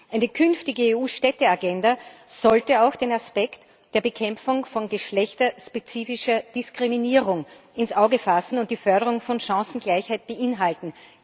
Eine künftige EU Städteagenda sollte auch den Aspekt der Bekämpfung von geschlechterspezifischer Diskriminierung ins Auge fassen und die Förderung von Chancengleichheit beinhalten.